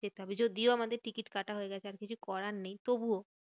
যেতে হবে যদিও আমাদের টিকিট কাটা হয়ে গেছে, আর কিছু করার নেই তবুও।